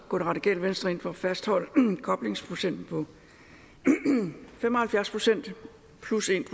går det radikale venstre ind for at fastholde koblingsprocenten på fem og halvfjerds plus en